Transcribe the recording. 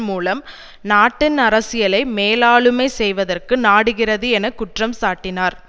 மூலம் நாட்டின் அரசியலை மேலாளுமை செய்வதற்கு நாடுகிறது என குற்றம் சாட்டினார்